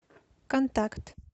контакт